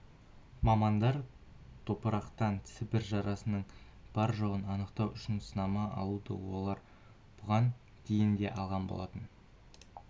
мамандар топырақтан сібір жарасының бар-жоғын анықтау үшін сынама алуда олар бұған дейін де алған болатын